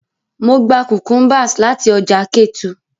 Mo gba cucumbers lati ọja Ketu.